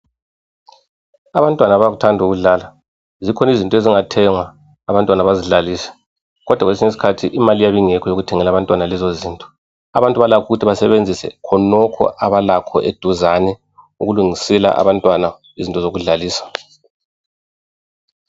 Abantwana bayakuthanda ukudlala. Zikhona izinto ezingathengwa abantwana bezidlalise kodwa kwesinye isikhathi imali iyabe ingekho yokuthenga lezo zinto. Abantu balakho ukuthi basebenzise khonokho abalakho eduzane ukulungisela abantwana izinto zokudlalisa.